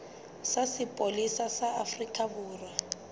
sa sepolesa sa afrika borwa